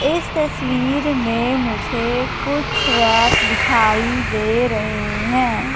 इस तस्वीर में मुझे कुछ रैक दिखाई दे रहे हैं।